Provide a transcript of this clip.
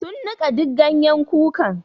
Sun nika duk ganyen kukan.